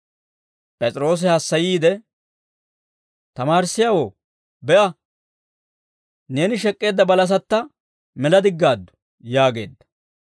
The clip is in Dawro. P'es'iroosi hassayiide, «Tamaarissiyaawoo, be'a; neeni shek'k'eedda balasatta mela diggaaddu» yaageedda.